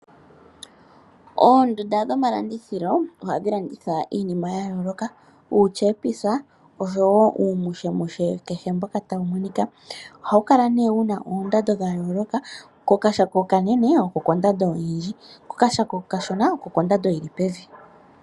Oondunda dhomalandithilo ohadhi landitha iinima ya yooloka, uutyepisa osho wo uumushemushe kehe mboka tawu monika. Ohawu kala nee wu na oondando dha yooloka. Kokashako okanene oko kondando oyindji, kolashako okashona oko kondando yi li pevi.